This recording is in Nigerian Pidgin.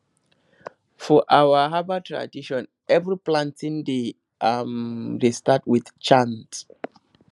for our herbal tradition every planting day um dey start with chant